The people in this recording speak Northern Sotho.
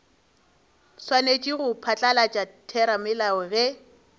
swanetše go phatlalatša theramelao ge